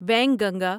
Wainganga